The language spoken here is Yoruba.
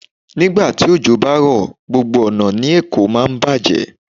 Ní ìgbà tí òjò bá ti rọ̀, gbogbo ọ̀nà ní Èkó máa bàjẹ́.